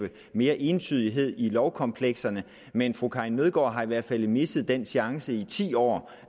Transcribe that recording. mere entydighed i lovkomplekserne men fru karin nødgaard har i hvert fald misset den chance i de ti år